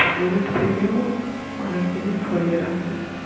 সাহেবের থেকেও অনেক জিনিস সরিয়ে রাখবে